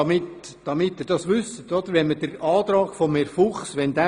Was wäre, wenn der Antrag von Herrn Fuchs gelten würde?